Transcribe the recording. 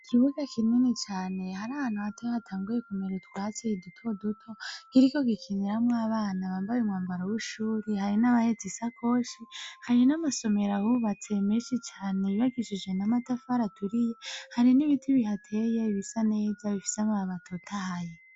Ikibuga kinini cane hari ahantu hatoya hatanguye kumera utwatsi duto duto kiriko gikiniramo abana bambaye umwambaro w'ishuri hari n'abahetse isakoshi hari n'amasomero ahubatse meshi cane yubakishije namatafari aturiye hari n'ibiti bihateye ibisa neza bifise amababi atotahaye.